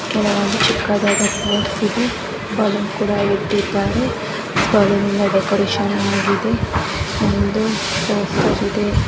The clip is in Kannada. ಕೆಲವೊಂದು ಚಿಕ್ಕದಾದ ಪ್ರಾಪ್ಸ್ ಇದೆ ಬಲೂನ್ ಕೂಡಾ ಇಟ್ಟಿದ್ದಾರೆ ಬಲೂನಿನ ಡೆಕೋರೇಷನ್ ಆಗಿದೆ ಒಂದು ಇದೆ.